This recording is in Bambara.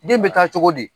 Den bɛ taa cogo di